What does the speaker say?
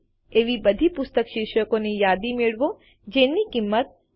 એવી બધી પુસ્તક શીર્ષકોની યાદી મેળવો જેની કીંમત રૂ